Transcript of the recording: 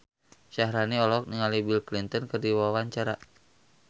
Syaharani olohok ningali Bill Clinton keur diwawancara